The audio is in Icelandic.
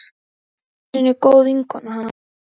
Ég var einu sinni góð vinkona hans.